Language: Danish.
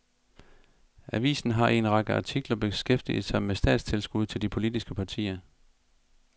Avisen har i en række artikler beskæftiget sig med statstilskud til de politiske partier.